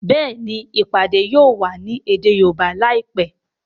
Béèni ìpàdé yóò wá ní èdè Yorùbá láìpé.